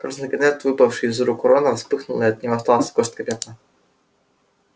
красный конверт выпавший из рук рона вспыхнул и от него осталась горстка пепла